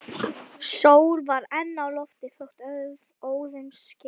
Sól var enn á lofti þótt óðum skyggði.